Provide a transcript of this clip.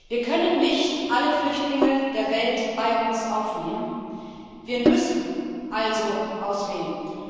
Wir können nicht alle Flüchtlinge der Welt bei uns aufnehmen, wir müssen also auswählen.